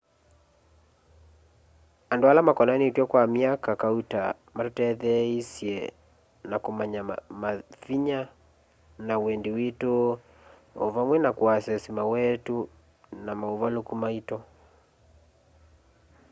andu ala makonanitw'e kwa myaka kauta matutetheeisye na kumanya mavinya na wendi witu o vamwe na kuasesi mawetu na mauvaluku maitu